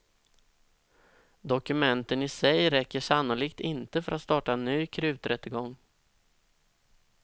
Dokumenten i sig räcker sannolikt inte för att starta en ny kruträttegång.